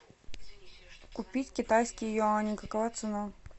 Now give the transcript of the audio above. купить китайский юань какова цена